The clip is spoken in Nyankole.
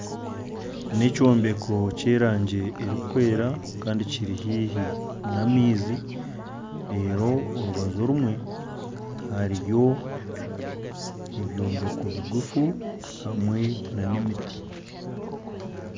N'ekyombeko ky'erangi erukwera kandi Kiri haihi n'amaizi reru orubaju rumwe hariyo ebyombeko bigufu hamwe n'emiti.